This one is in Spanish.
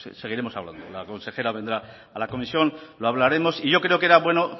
seguiremos hablando la consejera vendrá a la comisión lo hablaremos y yo creo que era bueno